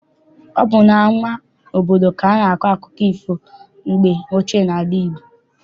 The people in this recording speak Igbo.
Ọ bụ n'ama obodo ka a na-akọ akụkọ ifo mgbe ochie n'ala Igbo.